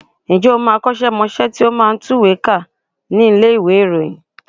Ǹjẹ́ o mọ akọ́ṣẹ́mọṣẹ́ tí ó máa ń tùwèé kà nílé ìròyìn?